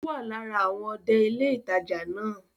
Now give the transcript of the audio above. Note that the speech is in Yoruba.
Ó wà lára àwọn ọdẹ ilé ìtajà náà